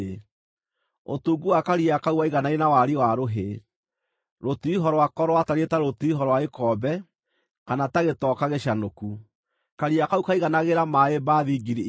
Ũtungu wa Karia kau waiganaine na wariĩ wa rũhĩ. Rũtiriho rwako rwatariĩ ta rũtiriho rwa gĩkombe, kana ta gĩtoka gĩcanũku. Karia kau kaiganagĩra maaĩ mbathi ngiri igĩrĩ.